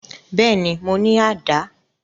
Bẹ́ẹ̀ni, mo ni àdá